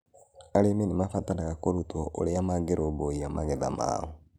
Arĩmi nĩ mabataraga kũrutwo ũrĩa mangĩrũmbũiya magetha mao.